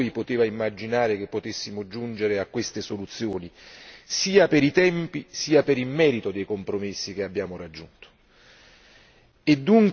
Solo sei mesi fa nessuno di noi poteva immaginare che potessimo giungere a queste soluzioni, sia per i tempi sia per il merito dei compromessi che abbiamo raggiunto.